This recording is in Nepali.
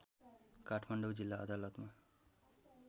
काठमाडौँ जिल्ला अदालतमा